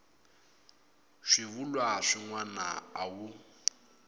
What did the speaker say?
swivulwa swin wana a wu